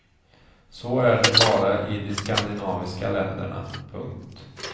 Så är det bara i de skandinaviska länderna. punkt